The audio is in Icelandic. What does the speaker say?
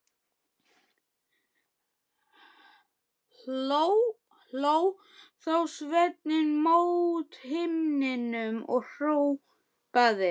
Hló þá Sveinn mót himninum og hrópaði